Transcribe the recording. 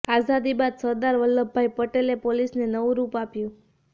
આઝાદી બાદ સરદાર વલ્લભભાઈ પટેલે પોલીસને નવું રૂપ આપ્યું